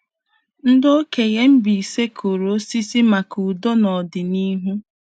Ndị okenye Mbaise kụrụ osisi maka ndo nọdịnihu.